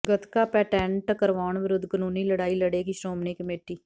gatka patent ਕਰਵਾਉਣ ਵਿਰੁੱਧ ਕਾਨੂੰਨੀ ਲੜਾਈ ਲੜੇਗੀ ਸ਼੍ਰੋਮਣੀ ਕਮੇਟੀ